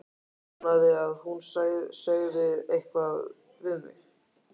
Vonaði að hún segði eitthvað við mig.